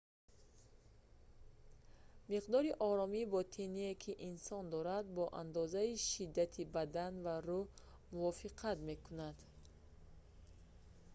миқдори оромии ботиние ки инсон дорад бо андозаи шиддати бадан ва рӯҳ мувофиқат мекунад